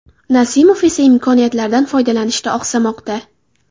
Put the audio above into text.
Nasimov esa imkoniyatlardan foydalanishda oqsamoqda.